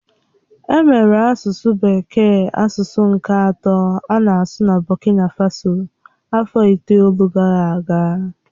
Emere asụsụ bekee asụsụ nke atọ a na-asụ na Burundị afọ itoolu gara aga.